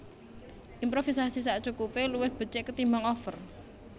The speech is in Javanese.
Improvisasi sakcukupé luwih becik ketimbang over